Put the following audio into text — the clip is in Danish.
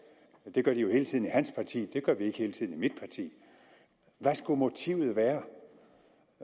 det gør de jo hele tiden i hans parti det gør vi ikke hele tiden i mit parti hvad skulle motivet være